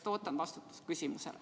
Ootan vastust küsimusele.